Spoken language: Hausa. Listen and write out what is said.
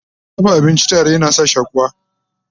dafa abinci tare yana sa shakuwa